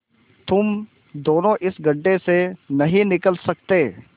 तुम दोनों इस गढ्ढे से नहीं निकल सकते